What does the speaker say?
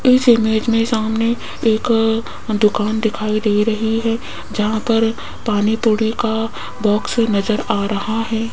इस इमेज में सामने एक अ दुकान दिखाई दे रही है जहां पर पानी पुरी का बॉक्स नजर आ रहा है।